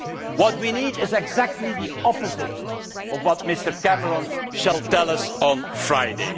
What we need is exactly the opposite of what Mr Cameron will tell us on Friday.